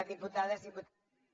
diputades diputats